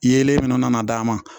Yelen fɛnɛ nana d'a ma